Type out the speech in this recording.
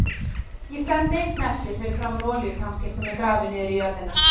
Ég stend einn eftir fyrir framan olíutankinn sem er grafinn niður í jörðina.